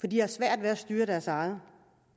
de har svært ved at styre deres eget